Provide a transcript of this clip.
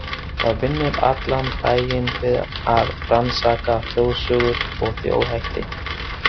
Það vinnur allan daginn við að rannsaka þjóðsögur og þjóðhætti.